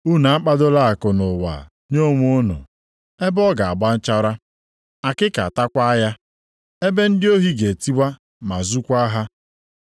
“Unu akpadola akụ nʼụwa nye onwe unu, ebe ọ ga-agba nchara, akịka atakwa ya, ebe ndị ohi ga-etiwa ma zukwaa ha.